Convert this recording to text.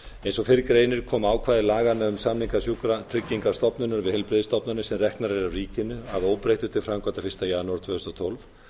eins og fyrr greinir kom ákvæði laganna um samninga sjúkratryggingastofnunar við heilbrigðisstofnanir sem reknar eru af ríkinu að óbreyttu til framkvæmda fyrsta janúar tvö þúsund og tólf